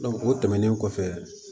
o tɛmɛnen kɔfɛ